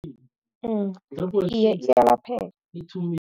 Iye, iyalapheka.